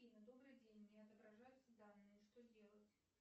афина добрый день не отображаются данные что делать